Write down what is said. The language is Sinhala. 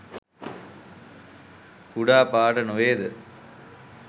කුඩා පාඨ නොවේ ද?